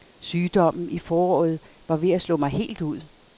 Sygdommen i foråret var ved at slå mig helt ud.